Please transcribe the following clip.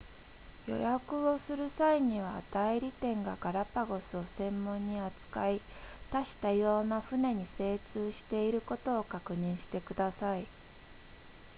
予約をする際には代理店がガラパゴスを専門に扱い多種多様な船に精通していることを確認してください